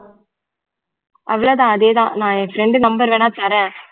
அவ்வளவு தான் அதே தான் நான் என் friend number வேணா தரேன்